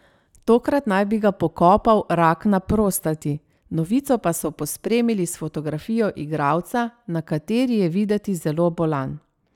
Tokrat naj bi ga pokopal rak na prostati, novico pa so pospremili s fotografijo igralca, na kateri je videti zelo bolan.